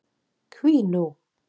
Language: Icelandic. Hví nú?